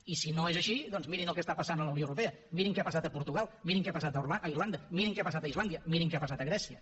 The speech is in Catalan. i si no és així doncs mirin el que està passant a la unió europea mirin què ha passat a portugal mirin què ha passat a irlanda mirin què ha passat a islàndia mirin què ha passat a grècia